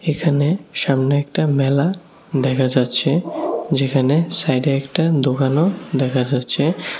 এখানে সামনে একটা মেলা দেখা যাচ্ছে যেখানে সাইডে একটা দোকানও দেখা যাচ্ছে।